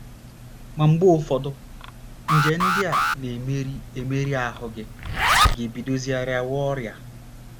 Ma mgbe ụfọdụ, nje ndị a na - emeri emeri ahụ́ gị, gị ebidozie rịawa ọrịa.